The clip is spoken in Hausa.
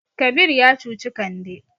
Kabir ya cuci Kande.